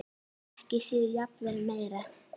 Ekki síður og jafnvel meira.